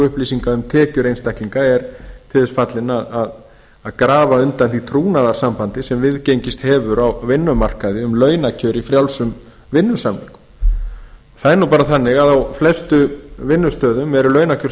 upplýsinga um tekjur einstaklinga er til þess fallin að grafa undan því trúnaðarsambandi sem viðgengist hefur á vinnumarkaði um launakjör í frjálsum vinnusamningum það er nú bara þannig að á flestum vinnustöðum eru launakjör